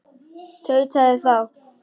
tautaði þá